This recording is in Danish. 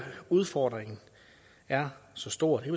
udfordringen er så stor det